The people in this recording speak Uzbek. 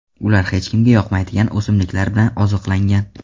Ular hech kimga yoqmaydigan o‘simliklar bilan oziqlangan.